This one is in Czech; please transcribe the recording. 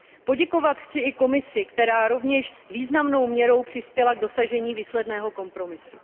Poděkovat chci i Komisi, která rovněž významnou měrou přispěla k dosažení výsledného kompromisu.